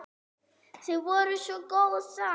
Þið voruð svo góð saman.